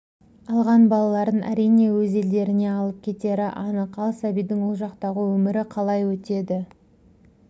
алған балаларын әрине өз елдеріне алып кетері анық ал сәбидің ол жақтағы өмірі қалай өтеді